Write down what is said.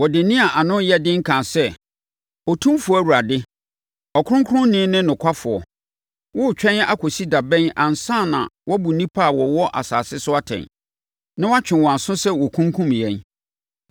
Wɔde nne a ano yɛ den kaa sɛ, “Otumfoɔ Awurade, Ɔkronkronni ne Nokwafoɔ! Woretwɛn akɔsi da bɛn ansa na wɔabu nnipa a wɔwɔ asase so atɛn, na wɔatwe wɔn aso sɛ wɔkunkum yɛn?”